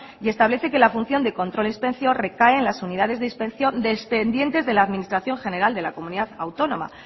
y establece que la función de inspección y control recae en las unidades dependientes de la administración general de la comunidad autónoma